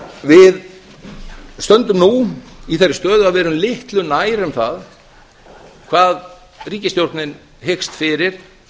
við stöndum nú í þeirri stöðu að við erum litlu nær um það hvað ríkisstjórnin hyggst fyrir